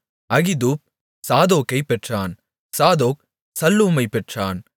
Ahitub சாதோக்கைப் பெற்றான் Zadok சல்லூமைப் பெற்றான்